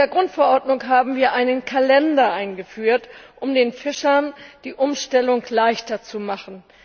In der Grundverordnung haben wir einen Kalender eingeführt, um den Fischern die Umstellung leichter zu machen.